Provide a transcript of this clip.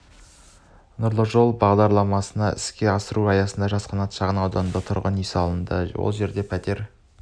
нұрлы жол мембағдарламасын іске асыру аясында жас қанат шағын ауданында тұрғын үй салынды ол жерде пәтер